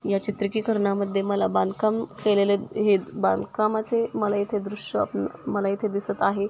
या चित्री की करणा मध्ये मला बांधकाम केलेले हे बांधकामाचे मला इथे दृश्य अम मला इथे दिसत आहे.